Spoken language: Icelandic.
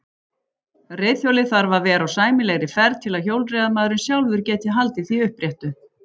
Reiðhjólið þarf að vera á sæmilegri ferð til að hjólreiðamaðurinn sjálfur geti haldið því uppréttu.